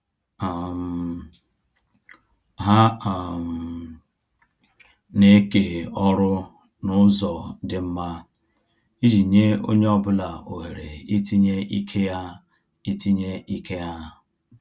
um Ha um na-eke ọrụ na-ụzọ dị mma, iji nye onye ọ bụla ohere itinye ike ha itinye ike ha